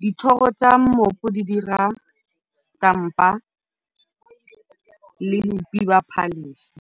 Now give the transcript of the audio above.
Dithoro tsa mmopo di dira stampa le bopi jwa phaletšhe.